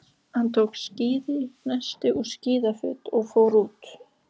Hann tók skíðin, nestið og skíðafötin og fór út.